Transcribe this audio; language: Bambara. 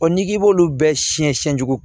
n'i b'olu bɛɛ siɲɛ siyɛn sugu